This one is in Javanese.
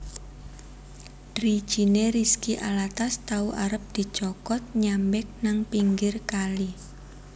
Drijine Rizky Alatas tau arep dicokot nyambek nang pinggir kali